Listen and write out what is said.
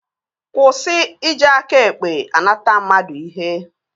Kwụsị iji aka ekpe anata mmadụ ihe!